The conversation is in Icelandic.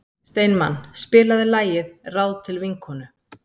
Steinmann, spilaðu lagið „Ráð til vinkonu“.